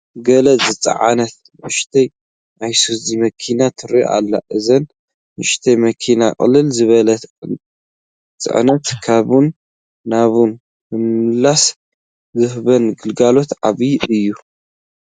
ገለ ዝፀዓነት ንኡሽተይ ኣይሱዙ መኪና ትርአ ኣላ፡፡ እዘን ንኡሽተያት መኻይን ቅልል ዝበለ ፅዕነት ካብን ናብን ብምምልላስ ዝህብኦ ግልጋሎት ዓብዪ እዩ፡፡